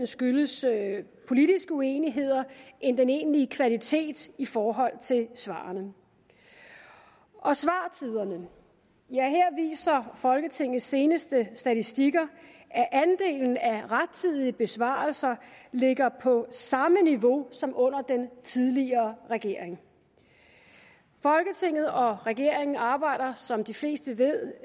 skyldes politiske uenigheder end den egentlige kvalitet i forhold til svarene svartiderne ja her viser folketingets seneste statistikker at andelen af rettidige besvarelser ligger på samme niveau som under den tidligere regering folketinget og regeringen arbejder som de fleste ved